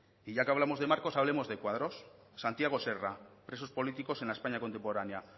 y ya que hablamos de marcos hablemos de cuadros santiago serra presos políticos en la españa contemporánea